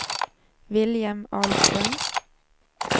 William Ahlström